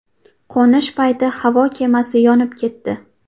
Qo‘nish payti havo kemasi yonib ketdi.